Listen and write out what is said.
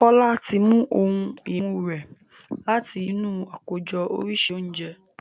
Jola tí mú òun imú rẹ láti inú Àkójọ oríṣi oúnjẹ.